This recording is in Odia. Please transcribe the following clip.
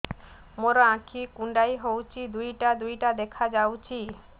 ମୋର ଆଖି କୁଣ୍ଡାଇ ହଉଛି ଦିଇଟା ଦିଇଟା ଦେଖା ଯାଉଛି